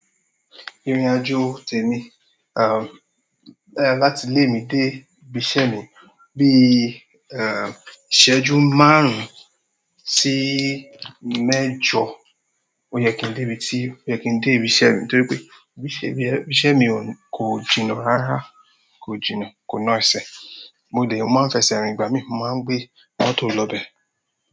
Ìrìn-àjò tè mi, um, eeh, láti ilé mi dé ibi iṣẹ́ mi bi, err, ìṣẹ́jú márùn sí mẹ́jọ. Ó yẹ kín dé ibi tí, ó yẹ kín dé ibi iṣẹ́ mi, torípé ibi iṣẹ́ mi, ibi iṣẹ́ mi kò jìnà rárá, kò jìnà, kò naase. Mo dé, mo má fẹsẹ̀ rìn ìgbà mi, mo má gbé mọ́tò lọ be.